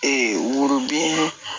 worobinɛ